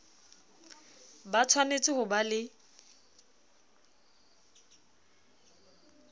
ba tshwanetse ho ba le